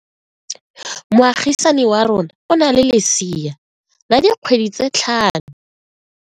Moagisane wa rona o na le lesea la dikgwedi tse tlhano.